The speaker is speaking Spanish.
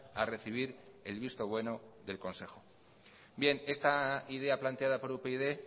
a recibir el visto bueno del consejo bien esta idea planteada por upyd